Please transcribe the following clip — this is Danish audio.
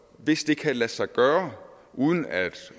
hvis det kan lade sig gøre uden at